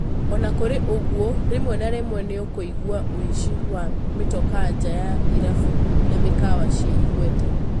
Ona kũri ũguo, rĩmwĩ na rĩmwĩ nĩũkũigwa wũici wa mĩtokaa njaa wa irabi na mikawa ciĩ igweta.